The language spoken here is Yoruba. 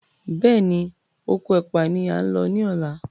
Béèni Okò ẹpa ní a ń ló ní ọlá.